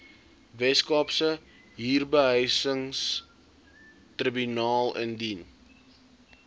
weskaapse huurbehuisingstribunaal indien